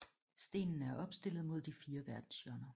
Stenene er opstillet mod de fire verdenshjørner